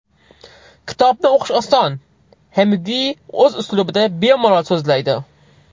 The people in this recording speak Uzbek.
Kitobni o‘qish oson, Xeminguey o‘z uslubida bemalol so‘zlaydi.